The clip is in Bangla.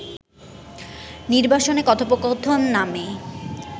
নির্বাসনে কথোপকথন নামে